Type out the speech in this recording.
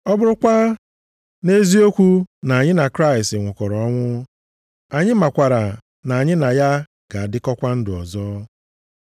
Ọ bụrụkwa nʼeziokwu na anyị na Kraịst nwụkọrọ ọnwụ, anyị makwara na anyị na ya ga-adịkọkwa ndụ ọzọ.